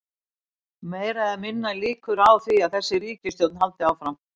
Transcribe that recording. Þulur: Meiri eða minni líkur á því að þessi ríkisstjórn haldi áfram?